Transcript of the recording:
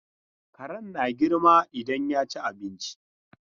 Karen na girma idan ya ci abinci.